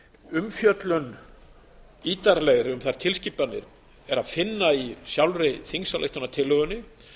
umfjöllun ítarlegri um þær tilskipanir er að finna í sjálfri þingsályktunartillögunni